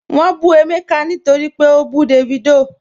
Wọ́n bù Emeka nítorí pé ó bú Davido